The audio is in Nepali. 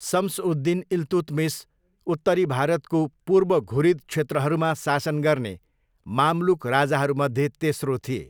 सम्स उद दिन इल्तुतमिस उत्तरी भारतको पूर्व घुरिद क्षेत्रहरूमा शासन गर्ने मामलुक राजाहरूमध्ये तेस्रो थिए।